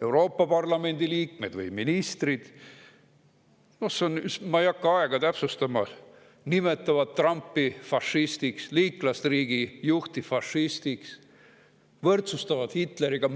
Euroopa Parlamendi liikmed või ministrid nimetavad – ma ei hakka aega täpsustama – Trumpi, liitlasriigi juhti, fašistiks, võrdsustavad teda Hitleriga?